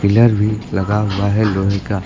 Pillar भी लगा हुआ है लोहे का।